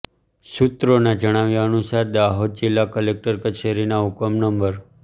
સૂત્રોના જણાવ્યા અનુસાર દાહોદ જિલ્લા કલેક્ટર કચેરીના હુકમ નં